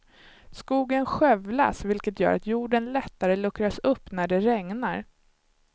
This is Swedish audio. Skogen skövlas vilket gör att jorden lättare luckras upp när det regnar.